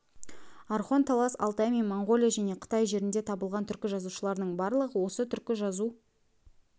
орхон талас алтай мен моңғолия және қытай жерінде табылған түркі жазуларының барлығы осы түркі жазу